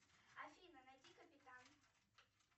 афина найди капитан